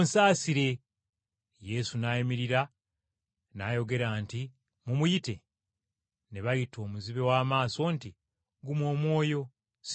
Yesu n’ayimirira n’ayogera nti, “Mumuyite.” Ne bayita omuzibe w’amaaso nti, “Guma omwoyo, situka akuyita!”